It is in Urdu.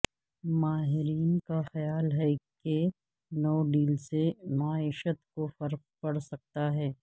ماہرین کا خیال ہے کہ نو ڈیل سے معیشت کو فرق پڑ سکتا ہے